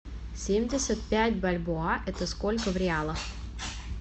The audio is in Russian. семьдесят пять бальбоа это сколько в реалах